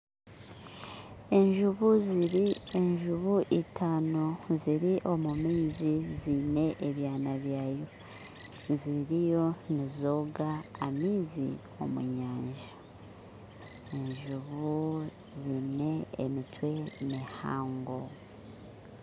Enjubu ziri enjubu itano ziri omu maizi ziine ebyaana byazo ziriyo nizooga amaizi omu nyanja enjubu ziine emitwe mihango